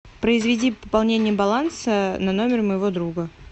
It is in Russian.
произведи пополнение баланса на номер моего друга